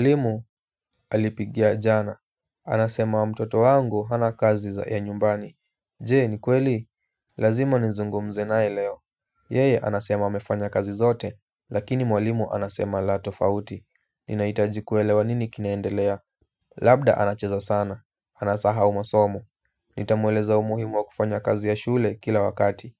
Mwalimu alipigia jana, anasema wa mtoto wangu hana kazi ya nyumbani. Je ni kweli, lazima nizungumze naye leo. Yeye anasema amefanya kazi zote, lakini mwalimu anasema la tofauti. Ninahitaji kuelewa nini kinaendelea. Labda anacheza sana, anasahau masomo. Nitamueleza umuhimu wa kufanya kazi ya shule kila wakati